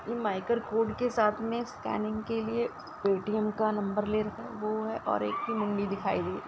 माईकर code के साथ में स्कैनिंग के लिए पेटीएम का नंबर ले रखा है वो है और एक की मुंडी दिखाई दे --